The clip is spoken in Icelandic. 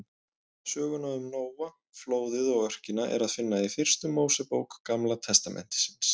Söguna um Nóa, flóðið og örkina er að finna í fyrstu Mósebók Gamla testamentisins.